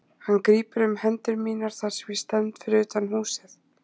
Hann grípur um hendur mínar þar sem ég stend fyrir utan húsið.